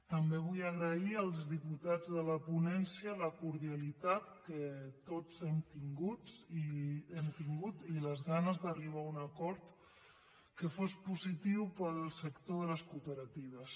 també vull agrair als diputats de la ponència la cordialitat que tots hem tingut i les ganes d’arribar a un acord que fos positiu per al sector de les cooperatives